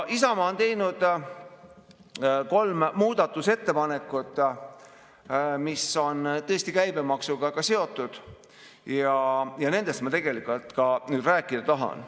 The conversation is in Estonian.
Isamaa on teinud kolm muudatusettepanekut, mis on käibemaksuga seotud, ja nendest ma tegelikult rääkida tahangi.